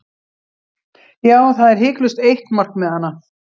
Já, það er hiklaust eitt markmiðanna.